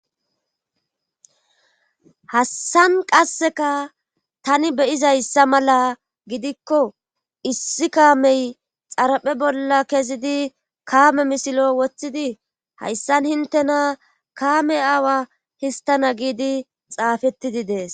Hassan qasseka tani beyizayssa mala gidikko issi kaamey xaraphe bolla kezidi kaame misilo woththidi hayssan hintena kaame aawa histana giidi xaafettidi dees.